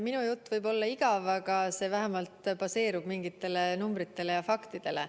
Minu jutt võib olla igav, aga see vähemalt baseerub mingitel numbritel ja faktidel.